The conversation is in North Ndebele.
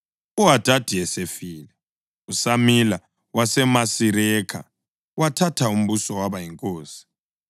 UHadadi esefile, uSamila waseMasirekha wathatha umbuso waba yinkosi.